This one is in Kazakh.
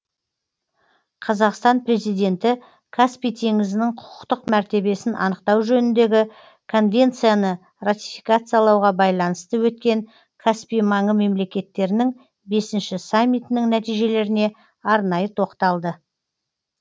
қазақстан президенті каспий теңізінің құқықтық мәртебесін анықтау жөніндегі конвенцияны ратификациялауға байланысты өткен каспий маңы мемлекеттерінің бесінші саммитінің нәтижелеріне арнайы тоқталды